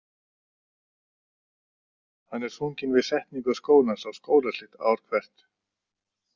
Hann er sunginn við setningu skólans og skólaslit ár hvert.